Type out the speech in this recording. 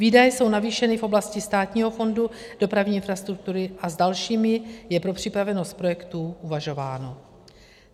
Výdaje jsou navýšeny v oblasti Státního fondu dopravní infrastruktury a s dalšími je pro připravenost projektů uvažováno.